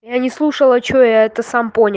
я не слушала что я это сам понял